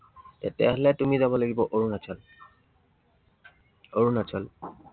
তেতিয়া হলে তুমি যাব লাগিব অৰুণাচল। অৰুণাচল